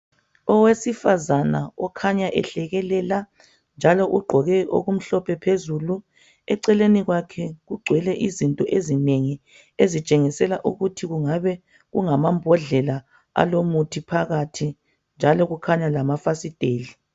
Owesifazane okhanya ehlekelela njalo ugqoke okumhlophe phezulu eceleni kwakhe kugcwele izinto ezinengi ezitshengisela ukuthi kungabe kungamambhodlela alo muthi phakathi njalo kukhanya lamafasiteli